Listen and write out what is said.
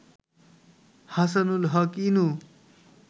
Hasanul Haq Inu